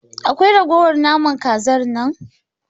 Akwai ragowar naman Kazar nan?